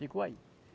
Ficou aí.